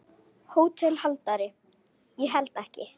HÓTELHALDARI: Ég held ekki.